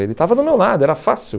Ele estava do meu lado, era fácil.